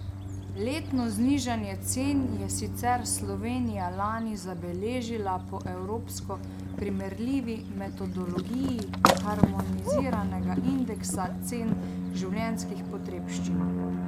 Letno znižanje cen je sicer Slovenija lani zabeležila po evropsko primerljivi metodologiji harmoniziranega indeksa cen življenjskih potrebščin.